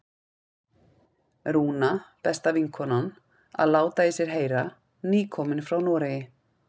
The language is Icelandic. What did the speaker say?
Rúna, besta vinkonan, að láta í sér heyra, nýkomin frá Noregi!